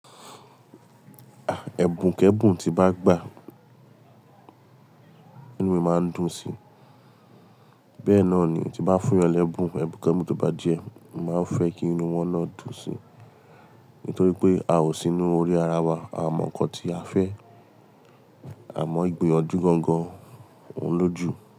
À, ẹ̀bùn k'ẹ́bùn tí bá gbà, inú mi máa ń dùn sí. Bẹ́ẹ̀ náà ni tí bá fún yan lẹ́bùn, ẹbùn k'ẹ́bùn tó bá jẹ, màá fẹ́ kí inú wọn náà dùn sí. Nítorí pé a ò sí inú orí ara wa, a mọ̀ nǹkan tí a fẹ́, a mọ ìgbiyanjú gangan, òun lójú.